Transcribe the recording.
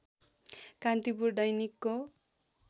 कान्तिपुर दैनिकको